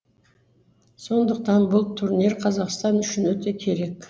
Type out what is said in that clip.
сондықтан бұл турнир қазақтан үшін өте керек